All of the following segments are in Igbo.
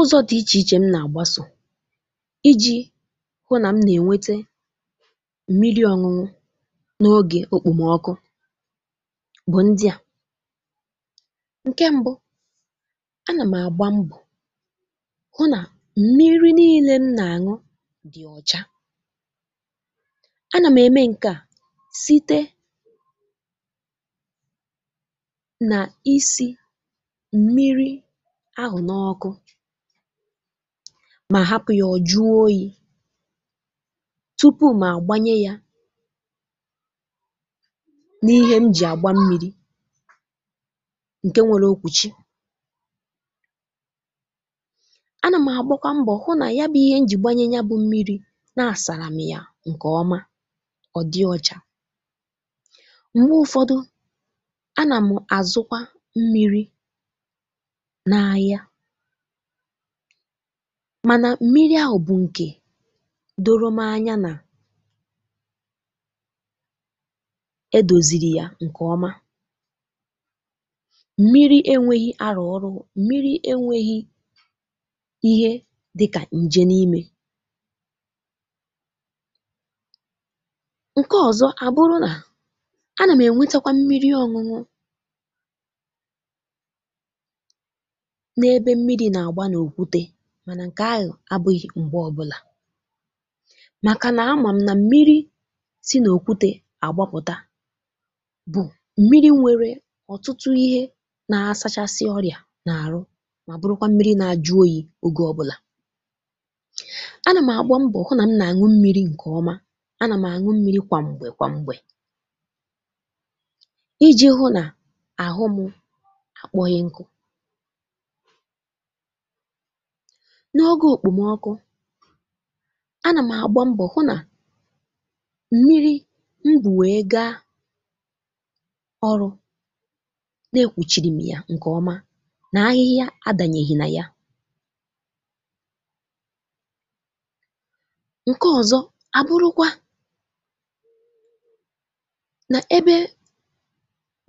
Ụzọ̇ dị iche iche m nà-àgbàsò iji̇ hụ nà m nà-ènwète mmìrì ọ̀ñụñụ̇ n’ọ̀gè òkpòmọkụ bụ̀ ndị à, ǹkè m̀bụ, a nà m̀ àgba mbọ̀ hụ nà mmìrì niile m nà-àṅụ dị̀ ọ̀cha. A nà m̀ ème ǹkè a site nà isi̇ mmìrì ahụ n'ókụ mà hapụ̀ yà ọ̀ jụọ oyi̇ tupu̇ mà gbànyè yà n’ìhè m jì àgba mmìrì ǹkè nwėlè okwùchi. A nà m̀ àgbọkwa mbọ̀ hụ nà ya bụ̇ ihe m jì gbànyè ya bụ mmìrì na-àsàrà m̀ yà ǹkè ọma ọ̀ dị ọcha. M̀gbè ụ̇fọdụ a nà m àzụkwa mmìrì na ahịa mà nà mmìrì ahụ̀ bụ̀ ǹkè dòrò m anya nà edòzìrì yà nke ọma. Mmìrì enwēghị̀ alùlù, mmìrì enwēghị̀ ihe dịkà ǹjẹ n’ìmè. Ǹkè ọzọ abụrụ na, a nà m enwetekwa mmìrì ọnụ ọnụ na ebe mmìrì nà-àgbà na okwùté, mà nà ǹkè ahụ̀ abụghị̇ m̀gbè ọbụlà, màkà nà amà m nà mmìrì si n’òkwùté àgbàpụ̀tà bụ̀ mmìrì nwèrè ọ̀tụtụ ihe nà-ȧsȧchàsị ọrịa n’àrụ, mà bụrụkwa mmìrì nà-ajụ̇ oyi̇ oge ọbụlà. A nà m̀ àgba mbọ̀ hụ nà m nà-àṅụ mmìrì ǹkè ọma. A nà m̀ àṅụ mmìrì kwà m̀gbè kwà m̀gbè iji̇ hụ nà àhụ m àkpọhịnkụ. N’ọ̀gè òkpòmọkụ a nà m̀ àgba mbọ̀ hụ nà mmìrì ngwú wéé gaa ọrụ na-ekwùchiri̇m yà ǹkè ọma, nà ahịhịa adànyèghì nà yà. Ǹkè ọ̀zọ abụrụkwa nà ebe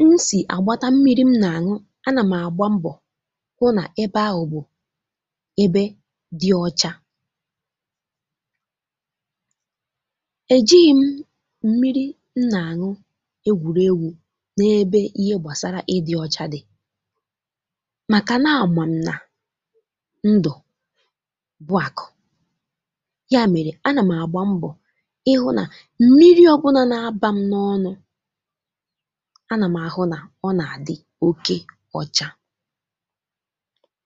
m sì àgbàtà mmìrì m nà-àṅụ, a nà m̀ àgba mbọ̀ hụ nà ebe ahụ bụ ebe dị ọcha. Èjighị̇ m mmìrì m nà-àṅụ egwùrègwù̇ n’ebe ihe gbasàrà ịdị̇ ọcha dị̀, màkà nà amà m nà ndụ̀ bụ àkụ̀. Yà mèrè a nà m àgba mbọ̀ ịhụ̇ nà mmìrì ọbụnȧ na-abà m n’ọnụ̇ a nà m ahụ nà ọ nà-àdị́ òkè ọcha.